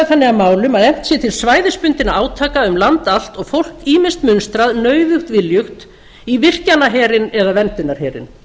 þannig að málum að efnt sé til svæðisbundinna átaka um land allt og fólk ýmist munstrað nauðugt viljugt í virkjanaherinn eða verndunarherinn